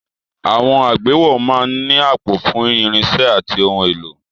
Àwọn àgbéwọ̀ máa ń ní àpò fún irinṣẹ́ àti ohun èlò.